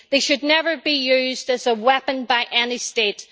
They should never be used as a weapon by any state.